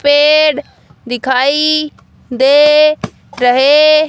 पेड़ दिखाई दे रहे --